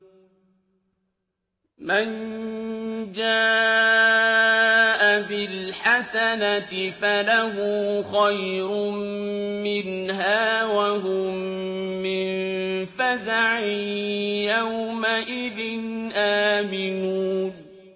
مَن جَاءَ بِالْحَسَنَةِ فَلَهُ خَيْرٌ مِّنْهَا وَهُم مِّن فَزَعٍ يَوْمَئِذٍ آمِنُونَ